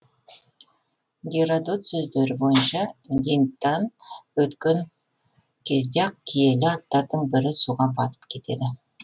геродот сөздері бойынша гиндтан өткен кезде ақ киелі аттардың бірі суға батып кетеді